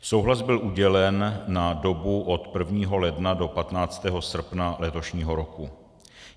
Souhlas byl udělen na dobu od 1. ledna do 15. srpna letošního roku.